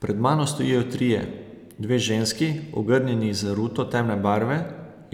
Pred mano stojijo trije, dve ženski, ogrnjeni z ruto temne barve,